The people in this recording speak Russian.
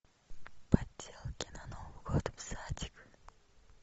поделки на новый год в садик